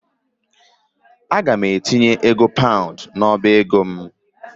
Aga m etinye ego paund n'ọba ego m.